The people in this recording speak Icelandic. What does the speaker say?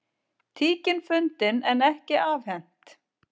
Tíkin fundin en ekki afhent